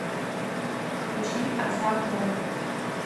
включи асап моб